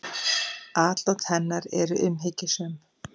Atlot hennar eru umhyggjusöm.